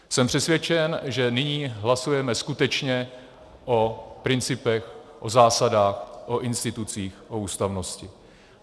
Jsem přesvědčen, že nyní hlasujeme skutečně o principech, o zásadách, o institucích, o ústavnosti.